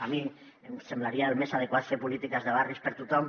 a mi em semblaria el més adequat fer polítiques de barris per a tothom